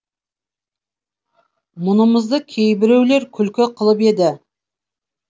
мұнымызды кейбіреулер күлкі қылып еді